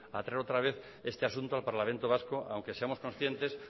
a traer otra vez este asunto al parlamento vasco aunque seamos conscientes